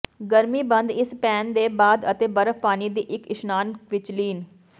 ਗਰਮੀ ਬੰਦ ਇਸ ਪੈਨ ਦੇ ਬਾਅਦ ਅਤੇ ਬਰਫ਼ ਪਾਣੀ ਦੀ ਇੱਕ ਇਸ਼ਨਾਨ ਵਿੱਚ ਲੀਨ